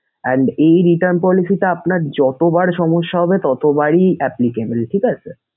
and এই return policy টা আপনার যতবার সমস্যা হবে ততবারই applicable ঠিক আছে sir